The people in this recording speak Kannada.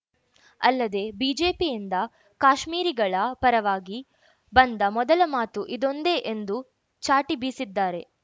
ಅಲ್ಲದೇ ಬಿಜೆಪಿಯಿಂದ ಕಾಶ್ಮೀರಿಗಳ ಪರವಾಗಿ ಬಂದ ಮೊದಲ ಮಾತು ಇದೊಂದೆ ಎಂದೂ ಚಾಟಿ ಬೀಸಿದ್ದಾರೆ